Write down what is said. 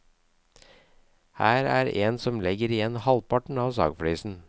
Her er en som legger igjen halvparten av sagflisen.